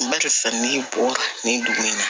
N bali fɛn min bɔ nin dugu in na